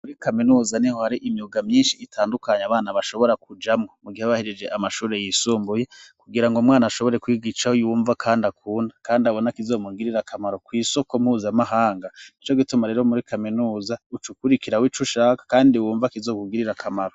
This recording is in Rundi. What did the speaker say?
Muri kaminuza niho hari imyuga myinshi itandukanye abana bashobora kujamo mu gihabahirije amashuri yisumbuye kugira ngo mwana ashobore kwigicaho ywumva kandi akunda kandi abona kizomugirira kamaro ku isoko mpuzamahanga nico gituma rero muri kaminuza ucukurikira wo ic ushaka kandi wumva kizokugirira kamaro.